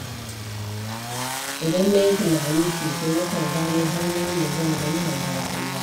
Idan na yi tunani sosai, nakan gano hanyoyin da zan inganta rayuwata.